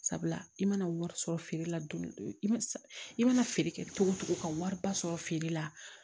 Sabula i mana wari sɔrɔ feere la dɔni dɔni i ma i mana feere kɛ cogo o cogo ka wariba sɔrɔ feere la